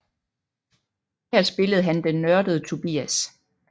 Her spillede han den nørdede Tobias